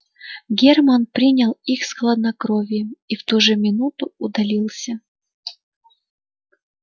германн принял их с хладнокровием и в ту же минуту удалился